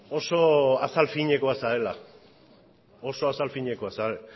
oso azal finekoa zarela oso azal finekoa zarela